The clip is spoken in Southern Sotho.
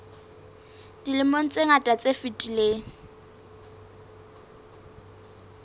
dilemong tse ngata tse fetileng